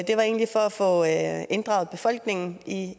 var egentlig for at få inddraget befolkningen